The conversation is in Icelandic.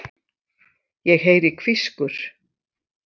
Ég heyri hvískur.